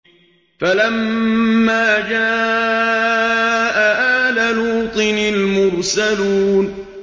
فَلَمَّا جَاءَ آلَ لُوطٍ الْمُرْسَلُونَ